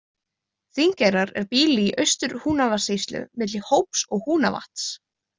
Þingeyrar er býli í Austur-Húnavatnssýslu milli Hóps og Húnavatns.